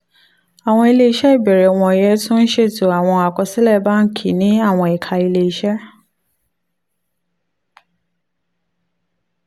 àwọn ilé iṣẹ́ ìbẹ̀rẹ̀ wọ̀nyí tún ń ṣètò àwọn àkọsílẹ̀ báńkì ní àwọn ẹ̀ka ilé iṣẹ́